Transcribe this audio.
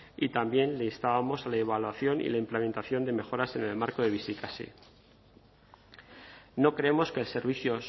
y también le instábamos a la evaluación y la implementación de mejoras en el marco de bizikasi no creemos que el servicio